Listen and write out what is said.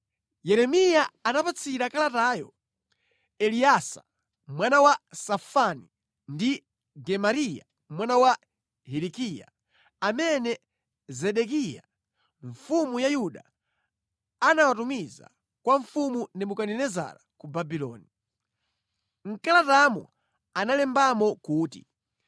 Yeremiya anapatsira kalatayo Eleasa mwana wa Safani ndi Gemariya mwana wa Hilikiya, amene Zedekiya mfumu ya Yuda anawatumiza kwa Mfumu Nebukadinezara ku Babuloni. Mʼkalatamo analembamo kuti: